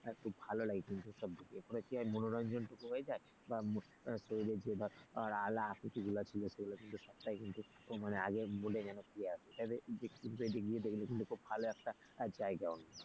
খুব ভালোলাগে কিন্তু সবগুলো কি হয় মনোরঞ্জনটুকু হয়ে যায় বা ধর শরীরের যে ধর আলা আকুতি গুলো ছিল সেগুলো কিন্তু সবটাই কিন্তু আগের mood এ যেন ফিরে আসে। তাহলে ইউটিউব গিয়ে দেখলে কিন্তু খুব ভালো একটা জায়গা।